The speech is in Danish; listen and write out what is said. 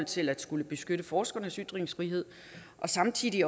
til at skulle beskytte forskernes ytringsfrihed og samtidig